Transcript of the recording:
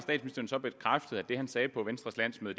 så bekræftet at det han sagde på venstres landsmøde